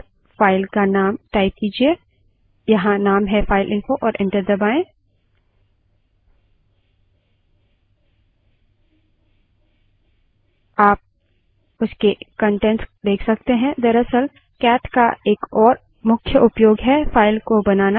लेकिन हम इस file के कंटेंट्स को कैसे देखें इसके लिए हमारे पास cat command है but cat space और file का name type कीजिये यहाँ name है fileinfo और enter दबायें